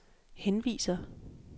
henviser